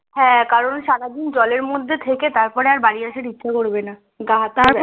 হ্যাঁ কারণ সারাদিন জলের মধ্যে থেকে তারপর আর বাড়ি আসতে ইচ্ছে করবে না গা হাত